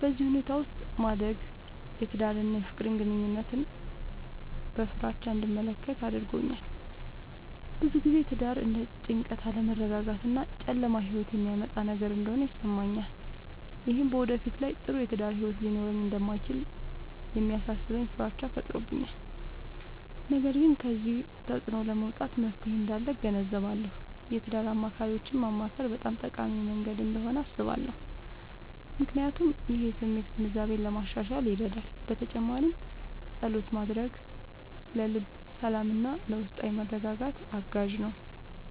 በዚህ ሁኔታ ውስጥ ማደግ የትዳርን እና የፍቅር ግንኙነትን በፍራቻ እንድመለከት አድርጎኛል። ብዙ ጊዜ ትዳር እንደ ጭንቀት፣ አለመረጋጋት እና ጨለማ ሕይወት የሚያመጣ ነገር እንደሆነ ይሰማኛል። ይህም በወደፊት ላይ ጥሩ የትዳር ሕይወት ሊኖረኝ እንደማይችል የሚያሳስበኝ ፍራቻ ፈጥሮብኛል። ነገር ግን ከዚህ ተፅዕኖ ለመውጣት መፍትሔ እንዳለ እገነዘባለሁ። የትዳር አማካሪዎችን ማማከር በጣም ጠቃሚ መንገድ እንደሆነ አስባለሁ፣ ምክንያቱም ይህ የስሜት ግንዛቤን ለማሻሻል ይረዳል። በተጨማሪም ፀሎት ማድረግ ለልብ ሰላምና ለውስጣዊ መረጋጋት አጋዥ ነው።